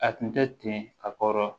A tun tɛ ten a kɔrɔ